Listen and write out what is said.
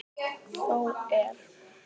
Þó er.